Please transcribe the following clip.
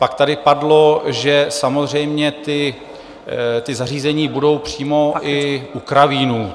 Pak tady padlo, že samozřejmě ta zařízení budou přímo i u kravínů.